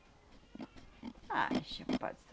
Ah, enche a